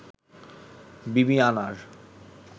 বিবিআনার